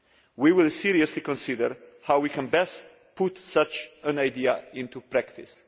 We will seriously consider how we can best put such an idea into practice.